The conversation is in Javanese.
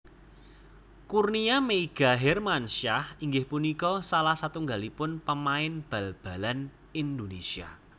Kurnia Meiga Hermansyah inggih punika salah satunggalipun pamain bal balan Indonésia